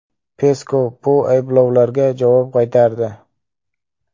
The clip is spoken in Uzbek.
Peskov bu ayblovlarga javob qaytardi.